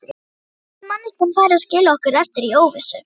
Hvernig gat manneskjan farið og skilið okkur eftir í óvissu?